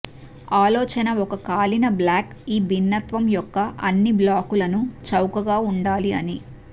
ఆలోచన ఒక కాలిన బ్లాక్ ఈ భిన్నత్వం యొక్క అన్ని బ్లాకులను చౌకైన ఉండాలి అని